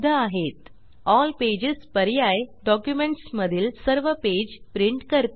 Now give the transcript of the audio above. L pages all pages पर्याय documents मधील सर्व पेज प्रिंट करते